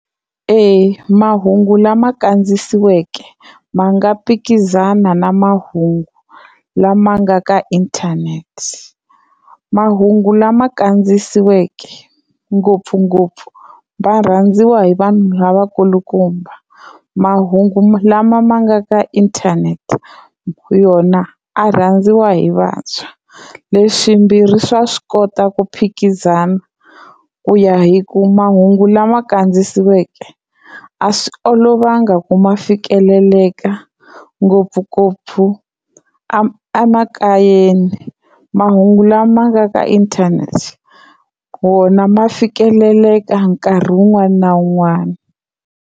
Eya mahungu lama kandziyisiweke ma nga phikizana na mahungu lama nga ka inthanete, mahungu lama kandziyisiweke ngopfungopfu va rhandziwa hi vanhu lavakulukumba, mahungu lama ma nga ka inthanete yona a rhandziwa hi vantshwa leswimbirhi swa swi kota ku phikizana ku ya hi ku mahungu lama kandziyisiweke a swi olovanga ku ma fikeleleka ngopfungopfu a a makayeni, mahungu lama nga ka inthanete wona ma fikeleleka nkarhi wun'wani na wun'wani.